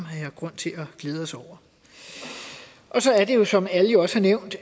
har grund til at glæde os over og så er det jo som alle også har nævnt